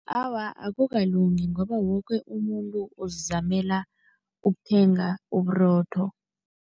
Awa, akukalungi ngoba woke umuntu uzizamela ukuthenga uburotho.